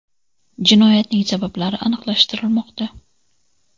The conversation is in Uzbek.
Jinoyatning sabablari aniqlashtirilmoqda.